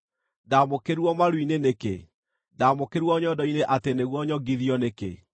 Ndaamũkĩrirwo maru-inĩ nĩkĩ? Ndaamũkĩrirwo nyondo-inĩ atĩ nĩguo nyongithio nĩkĩ?